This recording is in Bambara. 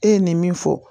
E ye nin min fɔ